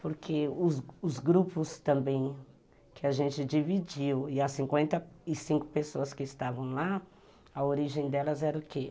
Porque os grupos também que a gente dividiu, e as cinquenta e cinco pessoas que estavam lá, a origem delas era o quê?